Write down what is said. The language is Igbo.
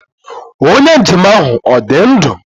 Onye njem ahụ ọ dị ndụ?